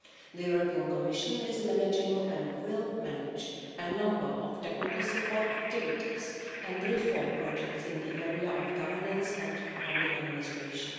The Commission is managing and will manage a number of technical support activities and reform projects in the area of governance and public administration.